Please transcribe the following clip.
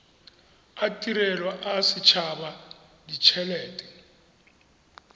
a tirelo a setshaba ditshelete